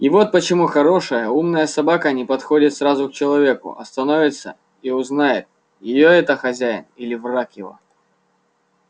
и вот почему хорошая умная собака не подходит сразу к человеку а становится и узнает её это хозяин или враг его